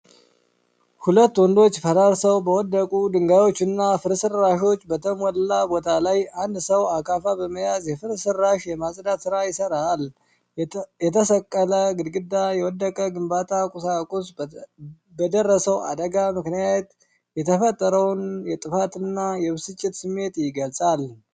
ሁለት ወንዶች ፈራርሰው በወደቁ ድንጋዮችና ፍርስራሾች በተሞላ ቦታ ላይ፣ አንድ ሰው አካፋ በመያዝ የፍርስራሽ የማጽዳት ሥራ ይሰራል። የተሰነጠቀ ግድግዳና የወደቀ የግንባታ ቁሳቁስ፣ በደረሰው አደጋ ምክንያት የተፈጠረውን የጥፋትና የብስጭት ስሜት ይገልጻሉ።